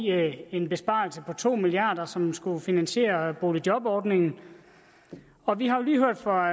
en besparelse på to milliard kr som skulle finansiere boligjobordningen og vi har jo lige hørt fra